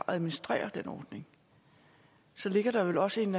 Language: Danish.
at administrere den ordning så ligger der vel også en